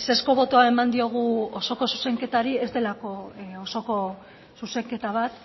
ezezko botoa eman diogu osoko zuzenketari ez delako osoko zuzenketa bat